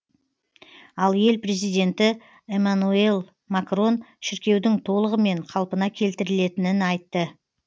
ал ел президенті эмманюэль макрон шіркеудің толығымен қалпына келтірілетінін айтты